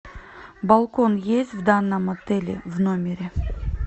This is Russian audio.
балкон есть в данном отеле в номере